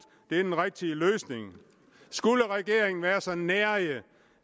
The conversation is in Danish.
det er den rigtige løsning skulle regeringen være så nærig